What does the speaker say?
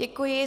Děkuji.